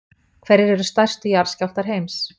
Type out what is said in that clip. Hverjir eru stærstu jarðskjálftar heims?